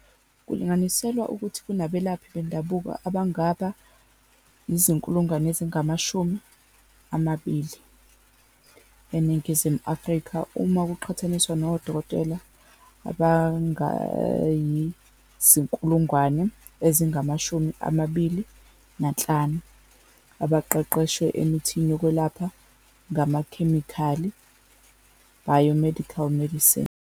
Kulinganiselwa ukuthi kunabelaphi bendabuko abangaba ngu-200 000 eNingizimu Afrika uma kuqhathaniswa nodokotela abangama-25,000 abaqeqeshwe emithini yokwelapha ngamakhemikhali, bio-medical medicine.